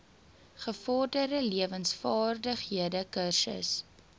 gevorderde lewensvaardighede kursus